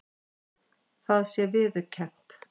Það sé viðurkennt